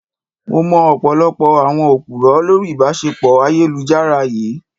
Mo mọ ọ̀pọ̀lọpọ̀ àwọn Òpùrọ́ lórí ìbáṣepọ̀ ayélujára yìí.